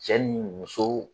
Cɛ ni muso